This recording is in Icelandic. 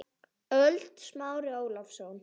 ÖLD Smári Ólason